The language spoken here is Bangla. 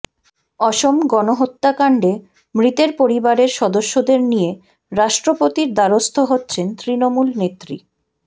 অসম গণহত্যাকাণ্ডে মৃতের পরিবারের সদস্যদের নিয়ে রাষ্ট্রপতির দ্বারস্থ হচ্ছেন তৃণমূল নেত্রী